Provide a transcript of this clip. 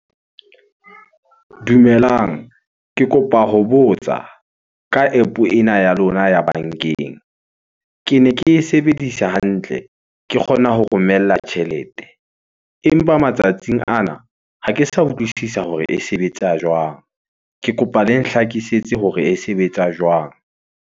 Dumelang. Ke kopa ho botsa ka App-o ena ya lona ya bankeng. Kene ke e sebedisa hantle, ke kgona ho romella tjhelete. Empa matsatsing ana ha ke sa utlwisisa hore e sebetsa jwang? Ke kopa le nhlakisetse hore e sebetsa jwang?